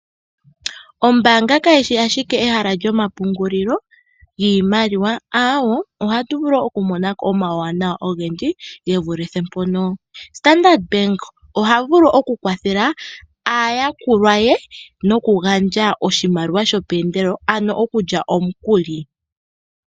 Ombaanga kayi shi ashike ehala lyomapungulilo giimaliwa, ohatu vulu woo okumonako omauwanawa ogendji gevulithe mpono . Standard Bank ohavulu okukwathela aayakulwa ye nokugandja oshimaliwa shomeendelelo ano okulya omukuli.